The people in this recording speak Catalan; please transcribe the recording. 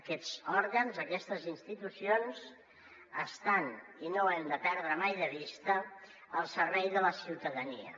aquests òrgans aquestes institucions estan i no ho hem de perdre mai de vista al servei de la ciutadania